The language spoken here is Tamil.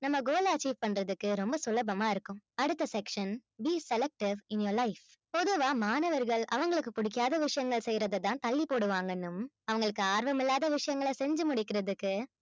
நம்ம goal achieve பண்றதுக்கு ரொம்ப சுலபமா இருக்கும் அடுத்த section be selective in your life பொதுவா மாணவர்கள் அவங்களுக்கு பிடிக்காத விஷயங்கள் செய்யறதைதான் தள்ளிப்போடுவாங்கன்னும் அவங்களுக்கு ஆர்வமில்லாத விஷயங்களை செஞ்சு முடிக்கிறதுக்கு